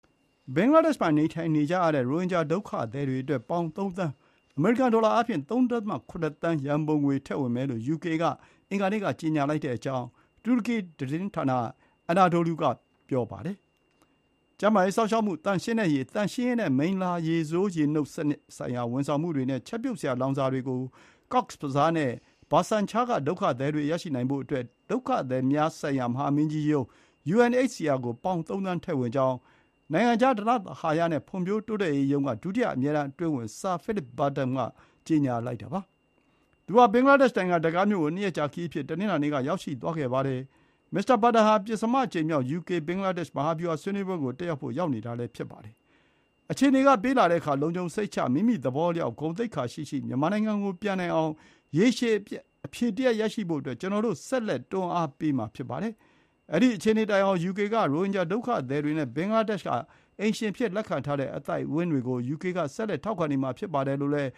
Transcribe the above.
ဘင်္ဂလားဒေ့ရှ်မှာနေထိုင်နေကြရတဲ့ ရိုဟင်ဂျာ ဒုက္ခသည်တွေအတွက် ပေါင် ၃ သန်း အမေရိကန် ဒေါ်လာအားဖြင့် ၃.၇ သန်း ရံပုံငွေထည့်ဝင်မယ်လို့ ယူကေ က အင်္ဂါနေ့က ကြေညာလိုက်ကြောင်း တူရကီသတင်းဌာန Anadolu က ဖော်ပြပါတယ်။ ကျန်းမာရေး စောင့်ရှောက်မှု၊ သန့်ရှင်းတဲ့ရေ၊ သန့်ရှင်းရေးနဲ့ မိလ္လာရေဆိုးနှုတ်စနစ်ဆိုင်ရာ ဝန်ဆောင်မှုတွေနဲ့ ချက်ပြုတ်စရာလောင်စာတွေကို Cox’s Bazar နဲ့ ဘာဆန်ချာ (Bhasan Char) က ဒုက္ခသည်တွေရရှိနိုင်ဖို့အတွက် ကုလသမဂ္ဂ ဒုက္ခသည်များဆိုင်ရာ မဟာမင်းကြီးရုံး UNHCR ကို ပေါင် ၃ သန်းထည့်ဝင် ကြောင်း နိုင်ငံခြား ဓနသဟာယ နဲ့ ဖွံ့ဖြိုးတိုးတက်ရေးရုံးက ဒုတိယ အမြဲတန်း အတွင်းဝန် ဆာ ဖိလစ် ဘာတန် (Sir Philip Barton) က ကြေညာလိုက်တာပါ။ သူဟာ ဘင်္ဂလားဒေ့ရှ်နိုင်ငံ ဒက္ကားမြို့ကို ၂ ရက်ကြာခရီးအဖြစ် တနင်္လာနေ့က ရောက်ရှိသွားခဲ့ပါတယ်။ မစ္စတာဘာတန်ဟာ ပဉ္စမအကြိမ်မြောက် ယူကေ ဘင်္ဂလားဒေ့ရှ် မဟာဗျူဟာဆွေးနွေးပွဲကိုတက်ရောက်ဖို့ ရောက်နေတာဖြစ်ပါတယ်။ “အခြေအနေ ပေးလာတဲ့အခါ လုံခြုံစိတ်ချ၊ မိမိသဘောအလျောက် ဂုဏ်သိက္ခာရှိရှိ မြန်မာနိုင်ငံကိုပြန်နိုင်အောင် ရေရှည်အဖြေတရပ်ရရှိဖို့အတွက် ကျနော်တို့ ဆက်လက် တွန်းအားပေးမှာ ဖြစ်ပါတယ်။ အဲဒီ အခြေအနေတိုင်အောင် ယူကေ က ရိုဟင်ဂျာဒုက္ခသည်တွေနဲ့ ဘင်္ဂလားဒေ့ရှ်က အိမ်ရှင်အဖြစ်လက်ခံထားတဲ့ အသိုက်အဝန်းတွေကို ယူကေက ဆက်လက် ထောက်ခံနေမှာ ဖြစ်ပါတယ်။ လို့လည်း